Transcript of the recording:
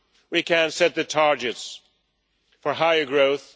We can set the targets for higher growth.